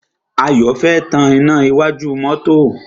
Ayọ̀ fẹ́ tan iná iwájú mọ́tọ́.